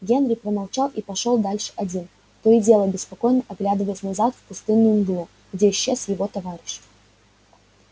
генри промолчал и пошёл дальше один то и дело беспокойно оглядываясь назад в пустынную мглу где исчез его товарищ